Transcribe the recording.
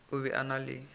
o be a na le